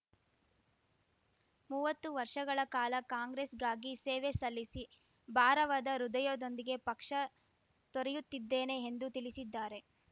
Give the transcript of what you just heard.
ಮೂವತ್ತು ವರ್ಷಗಳ ಕಾಲ ಕಾಂಗ್ರೆಸ್ ಗಾಗಿ ಸೇವೆ ಸಲ್ಲಿಸಿ ಭಾರವಾದ ಹೃದಯದೊಂದಿಗೆ ಪಕ್ಷ ತೊರೆಯುತ್ತಿದ್ದೇನೆ ಎಂದು ತಿಳಿಸಿದ್ದಾರೆ